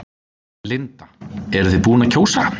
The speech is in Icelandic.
Linda: Eruð þið búin að kjósa?